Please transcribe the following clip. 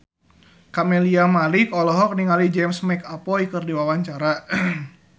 Camelia Malik olohok ningali James McAvoy keur diwawancara